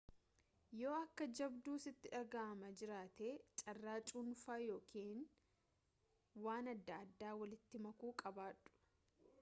yoo akka jabduu sitti dhagahamaa jiraate carraa cuunfaa yookaan waan adda addaa walitti makuu qabaadhu